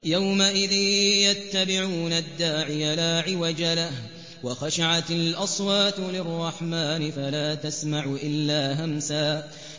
يَوْمَئِذٍ يَتَّبِعُونَ الدَّاعِيَ لَا عِوَجَ لَهُ ۖ وَخَشَعَتِ الْأَصْوَاتُ لِلرَّحْمَٰنِ فَلَا تَسْمَعُ إِلَّا هَمْسًا